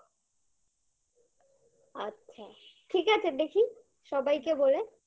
আচ্ছা ঠিক আছে দেখি সবাইকে বলে